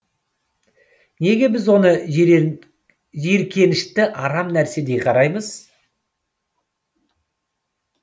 неге біз оны жиіркенішті арам нәрседей қараймыз